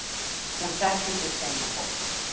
Hún þekkir sitt heimafólk.